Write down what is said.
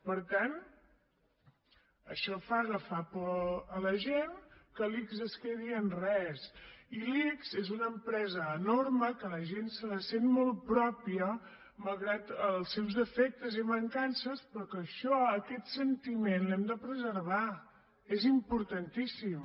per tant això fa agafar por a la gent que l’ics es quedi en res i l’ics és una empresa enorme que la gent se la sent molt pròpia malgrat els seus defectes i mancances però que això aquest sentiment l’hem de preservar és importantíssim